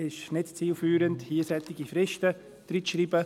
Es ist nicht zielführend, hier solche Fristen hineinzuschreiben.